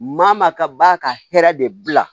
Maa maa ka b'a ka hɛrɛ de bila